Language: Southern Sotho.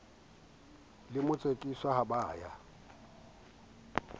le motsekiswa ha ba ya